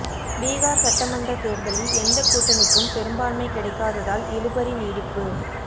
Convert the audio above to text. பீகார் சட்டமன்ற தேர்தலில் எந்த கூட்டணிக்கும் பெரும்பான்மை கிடைக்காததால் இழுபறி நீடிப்பு